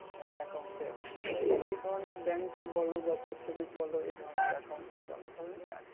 হ্যাঁ account এর এই ধরনের bank বল বা post office বল এই ধরনের account সব যায়গায় আছে।